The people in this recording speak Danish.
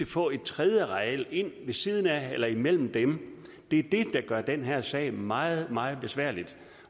få et tredje areal ind ved siden af eller imellem dem det er det der gør den her sag meget meget besværlig